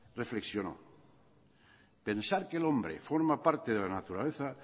reflexionó pensar que el hombre forma parte de la naturaleza